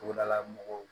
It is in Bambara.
Togodala mɔgɔw